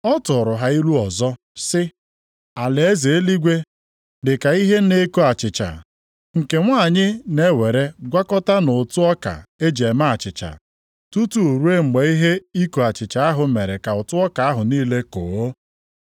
Ọ tụrụ ha ilu ọzọ sị, “Alaeze eluigwe dị ka ihe na-eko achịcha, + 13:33 Maọbụ, yiist nke nwanyị na-ewere gwakọta nʼụtụ ọka e ji eme achịcha, tutu ruo mgbe ihe iko achịcha ahụ mere ka ụtụ ọka ahụ niile koo.”